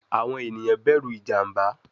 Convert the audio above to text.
Awọn eniyan bẹru ijamba